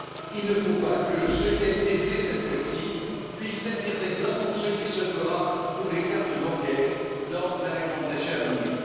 Il ne faut pas que ce qui a été fait cette fois ci puisse servir d'exemple pour ce qui se fera pour les cartes bancaires dans la réglementation à venir.